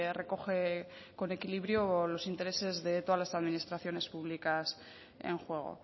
recoge con equilibrio los intereses de todas las administraciones públicas en juego